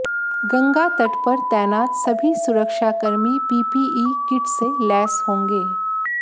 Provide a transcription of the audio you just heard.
गंगा तट पर तैनात सभी सुरक्षाकर्मी पीपीई किट से लैस होंगे